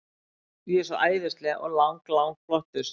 Ég er svo æðisleg og lang, lang flottust.